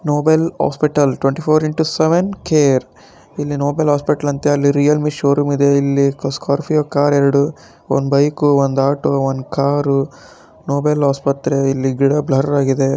Nobel hospital twenty four into seven care ಇಲ್ಲಿ Nobel hospital ಅಂತೇ ಅಲ್ಲಿ ರಿಯಲ್ ಮೀ ಶೋರೂಮ್ ಇದೆ ಇಲ್ಲಿ ಸ್ಕಾರ್ಪಿಯೊ ಕಾರ್ ಎರಡು ಒಂದ್ ಬೈಕು ಒಂದ್ ಆಟೋ ಒಂದ್ ಕಾರು ನೊಬೆಲ್ ಆಸ್ಪತ್ರೆ ಇಲ್ಲಿ ಗಿಡ ಬ್ಲರ್ ಆಗಿ ಇದೆ.